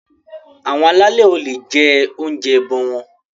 Àwọn alálè o le jẹ oúnjẹ ẹbọ wọn.